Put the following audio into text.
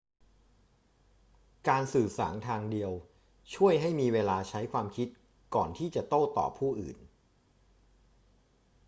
การสื่อสารทางเดียวช่วยให้มีเวลาใช้ความคิดก่อนที่จะโต้ตอบผู้อื่น